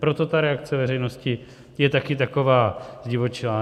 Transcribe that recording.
Proto ta reakce veřejnosti je taky taková zdivočelá.